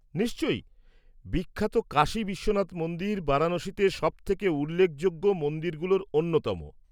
-নিশ্চয়ই। বিখ্যাত কাশী বিশ্বনাথ মন্দির বারাণসীতে সবথেকে উল্লেখযোগ্য মন্দিরগুলোর অন্যতম।